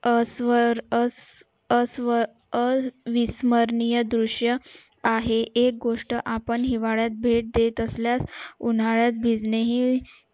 अस्वी अ स्वी अस्वी अस्वी अं अस्विमरणीय दृश्य आहे एक गोष्ट आपण हिवाळ्यात भेट देत असल्यास उन्हाळ्यात भेटणे हि